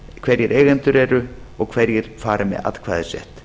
hverjir eigendur eru og hverjir fari með atkvæðisrétt